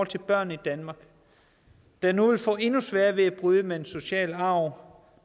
til børn i danmark der nu vil få endnu sværere ved at bryde med den sociale arv